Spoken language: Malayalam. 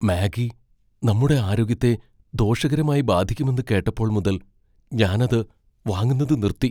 മാഗി നമ്മുടെ ആരോഗ്യത്തെ ദോഷകരമായി ബാധിക്കുമെന്ന് കേട്ടപ്പോൾ മുതൽ ഞാൻ അത് വാങ്ങുന്നത് നിർത്തി.